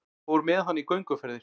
Fór með hana í gönguferðir.